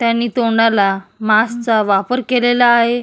त्यानी तोंडाला मास्क चा वापर केलेला आहे.